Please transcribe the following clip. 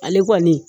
Ale kɔni